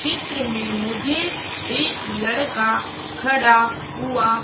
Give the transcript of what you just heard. चित्र में मुझे एक लड़का खड़ा हुआ--